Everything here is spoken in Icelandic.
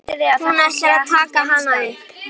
Hann ætlar að taka hana upp.